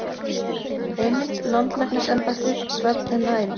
Heimild: Landlæknisembættið- Svefn er næring.